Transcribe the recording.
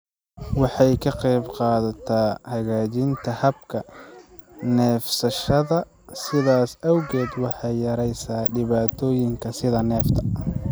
Waxay ka qaybqaadataa hagaajinta habka neefsashada, sidaas awgeed waxay yareysaa dhibaatooyinka sida neefta.